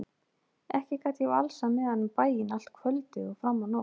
Ekki gat ég valsað með hann um bæinn allt kvöldið og fram á nótt.